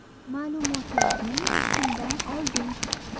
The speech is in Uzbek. Ma’lumotlarni kimdan olding?